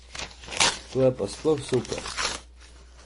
To je pa sploh super.